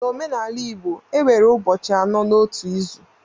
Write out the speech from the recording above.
N'omenala igbo enwere ụbọchị anọ n'otu izu